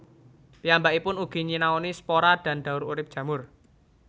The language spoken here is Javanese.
Piyambakipun ugi nyinaoni spora dan daur urip jamur